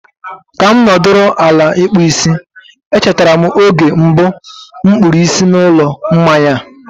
ka m nọdụrụ ala ịkpụ isi, e chetara m oge mbụ m kpụrụ isi n'ụlọ mmanya a.